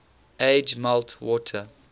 age melt water